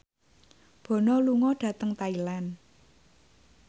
Bono lunga dhateng Thailand